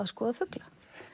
skoða fugla